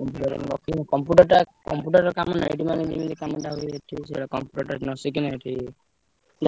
Computer ନ କିଣି computer ଟା computer କାମ net ମାନେ ଯେମିତି କାମ ଟା ହୁଏ ଏଠି ବି ସେୟା computer ଟା ନଶିଖିଲେ ଏଠି